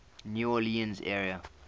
new orleans area